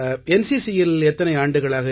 NCCயில் எத்தனை ஆண்டுகளாக